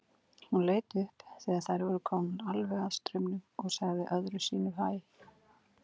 Hún leit upp þegar þær voru komnar alveg að staurnum og sagði öðru sinni hæ.